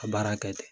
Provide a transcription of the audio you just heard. Ka baara kɛ ten